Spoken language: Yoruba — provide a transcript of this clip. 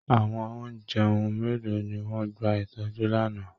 Àwọn ọ̀jẹun mélòó ni wọ́n gba ìtọ́jú lánàá!